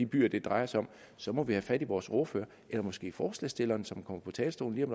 byer det drejer sig om så må vi have fat i vores ordfører eller måske forslagsstilleren som kommer på talerstolen om